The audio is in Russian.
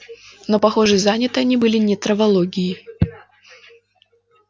но похоже заняты они были не травологией